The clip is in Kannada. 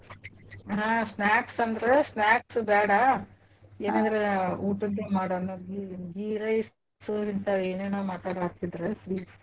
ಹಾ snacks ಅಂದ್ರ್ snacks ಬ್ಯಾಡಾ ಏನಾದ್ರ ಊಟದ್ ಮಾಡೋನು ghee rice ಹಿಂತಾವ್ ಏನೇನ ಮಾತಾಡತ್ತಿದ್ರ sweets .